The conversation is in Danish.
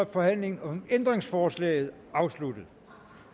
forhandlingen om ændringsforslaget sluttet